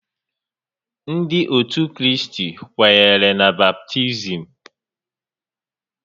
Ndị ótù Kraịst kwenyere na baptizim